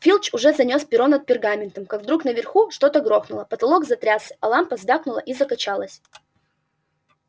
филч уже занёс перо над пергаментом как вдруг наверху что-то грохнуло потолок затрясся а лампа звякнула и закачалась